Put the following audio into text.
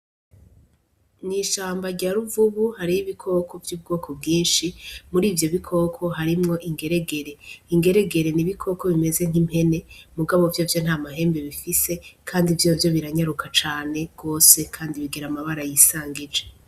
Mwi shamba rya Ruvubu hariho ibikoko vy' ubwoko bwinshi muri ivyo bikoko harimwo ingeregere, ingeregere ni iboko bimeze nk'impene mugabo vyovyo nta mahembe bifise kandi vyovyo biranyaruka cane gose kandi bigira amabara yisangije.